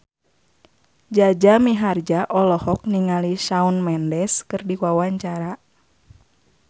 Jaja Mihardja olohok ningali Shawn Mendes keur diwawancara